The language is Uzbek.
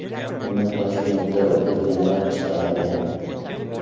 Uni Toshkentda o‘tirganlar chiqargan.